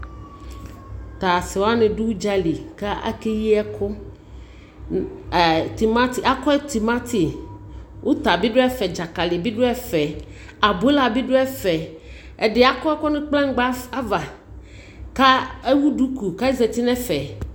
To ase wane do udzali ko ake yi ɛku Timati, akɔe timati, uta, dzakali be do ɛfɛ Abola be do ɛfɛ Ɛde akɔ ɛku no kplanyingba ava ko ewu duku ke ozati no ɛfɛ